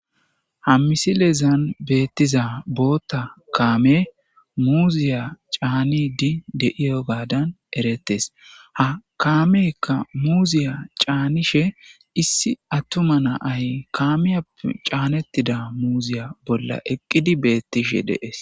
Ha misilezan beettiza bootta kaame muuziya caanidi deiyo gaadan eretes ha kaameekka muuziya caanishe issi attuma naay kaamiyappe caanettida muuziya bolla eqqidi beettishe dees.